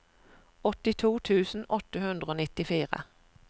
åttito tusen åtte hundre og nittifire